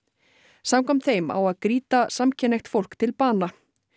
samkvæmt þeim á að grýta samkynhneigt fólk til bana